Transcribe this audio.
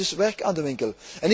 Daar is dus werk aan de winkel.